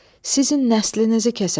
Sizin nəslinizi kəsəcəm.